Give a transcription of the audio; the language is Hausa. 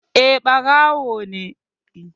Eh, ɓarawo ne